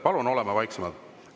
Palun oleme vaiksemalt!